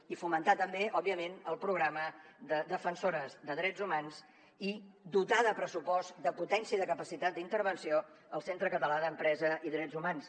i fomentar també òbviament el programa de defensores de drets humans i dotar de pressupost de potència i de capacitat d’intervenció el centre català d’empresa i drets humans